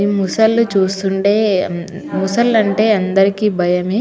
ఈ ముసల్లు చూస్తుండే ముసలంటే అందరికి భయమే .